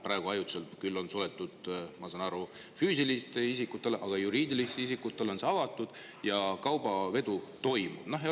Praegu küll on see ajutiselt suletud, ma saan aru, füüsilistele isikutele, aga juriidilistele isikutele on see avatud ja kaubavedu toimub.